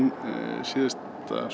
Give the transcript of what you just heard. síðasta